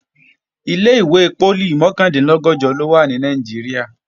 Ilé-ìwé poli mọ̀kàndínlọ́gọ̀jọ ló wà ní Nàìjíríà